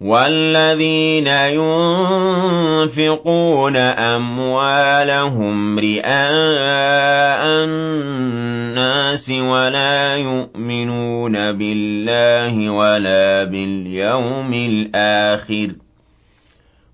وَالَّذِينَ يُنفِقُونَ أَمْوَالَهُمْ رِئَاءَ النَّاسِ وَلَا يُؤْمِنُونَ بِاللَّهِ وَلَا بِالْيَوْمِ الْآخِرِ ۗ